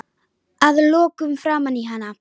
Að lokum framan í hana.